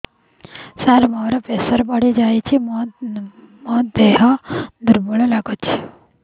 ସାର ମୋର ପ୍ରେସର ବଢ଼ିଯାଇଛି ମୋ ଦିହ ଦୁର୍ବଳ ଲାଗୁଚି